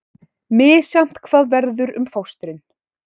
Misjafnt hvað verður um fóstrin